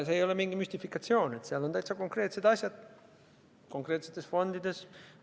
See ei ole mingi müstifikatsioon, seal on täitsa konkreetsed asjad konkreetsetes fondides.